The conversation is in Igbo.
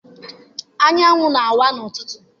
Anyanwụ na-awa n'ụtụtụ.